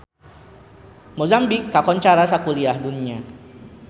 Mozambik kakoncara sakuliah dunya